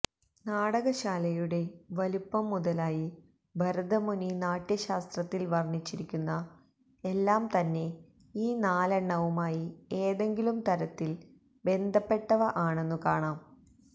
നാടകശാലയുടെ വലുപ്പം മുതലായി ഭരതമുനി നാട്യശാസ്ത്രത്തില് വര്ണ്ണിച്ചിരിക്കുന്ന എല്ലാം തന്നെ ഈ നാലെണ്ണവുമായി ഏതെങ്കിലും തരത്തില് ബന്ധപ്പെട്ടവ ആണെന്നു കാണാം